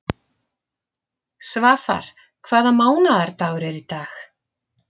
Svafar, hvaða mánaðardagur er í dag?